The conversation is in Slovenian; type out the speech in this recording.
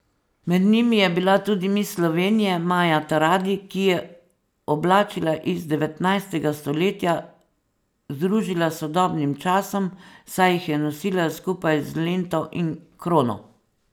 Med njimi je bila tudi miss Slovenije Maja Taradi, ki je oblačila iz devetnajstega stoletja združila s sodobnim časom, saj jih je nosila skupaj z lento in krono.